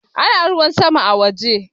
Ana ruwa sama a waje